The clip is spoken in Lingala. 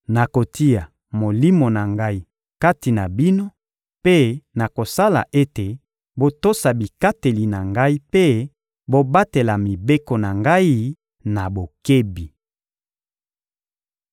Nakotia Molimo na Ngai kati na bino mpe nakosala ete botosa bikateli na Ngai mpe bobatela mibeko na Ngai na bokebi.